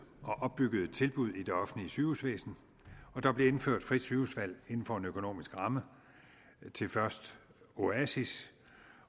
og opbyggede tilbud i det offentlige sygehusvæsen der blev indført frit sygehusvalg inden for en økonomisk ramme til først oasis